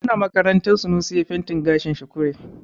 Muna makaranta Sunusi yayi fentin gashin sa kure.